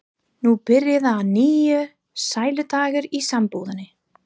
Nú byrja að nýju sæludagar í sambúðinni.